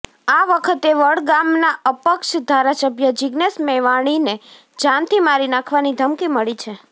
આ વખતે વડગામના અપક્ષ ધારાસભ્ય જિગ્નેશ મેવાણીને જાનથી મારી નાખવાની ધમકી મળી છે